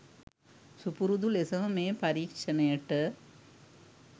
සුපුරුදු ලෙසම මේ පරීක්ෂණයට